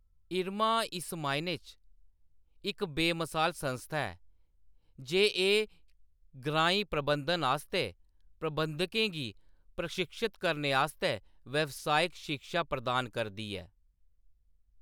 इरमा इस मायने च इक बेमसाल संस्था ऐ जे एह्‌‌ ग्राईं प्रबंधन आस्तै प्रबंधकें गी प्रशिक्षत करने आस्तै व्यावसायिक शिक्षा प्रदान करदी ऐ।